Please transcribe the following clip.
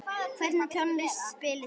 Hvernig tónlist spilið þið?